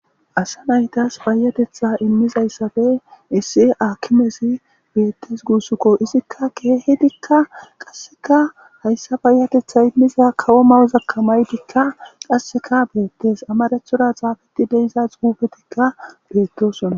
Asa naytas payatetha imizaytappe issi akimez betes gusuko izka kehidika qaseka payatetha imiza kawo mayozaka mayida qaseka betes qaseka amarathora xafet de'za xufetika betosona .